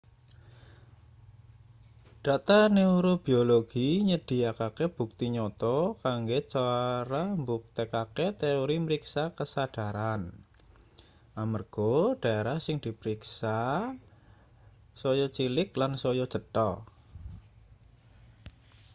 data neurobiologi nyedhiyakake bukti nyata kanggo cara mbuktekake teori mriksa kasadharan amarga daerah sing dipriksa saya cilik lan saya cetha